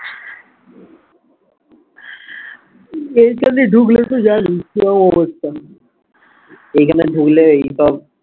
এই খানে ঢুকলে তো জানিস কি রকম অবস্থা এই খানে ঢুকলে এইসব